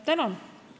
Tänan!